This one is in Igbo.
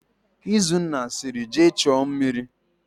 Izunna sịrị, "jee chuo mmiri"!.